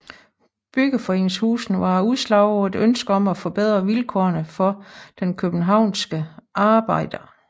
Byggeforeningshusene var et udslag af et ønske om at forbedre vilkårene for den københavnske arbejder